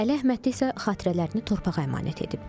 Əli Əhmədli isə xatirələrini torpağa əmanət edib.